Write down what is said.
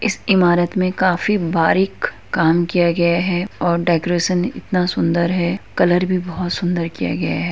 इस इमारत मैं काफी बारीक काम किया गया है और डेकोरेशन इतना सुंदर है कलर भी बहुत सुंदर किया गया है।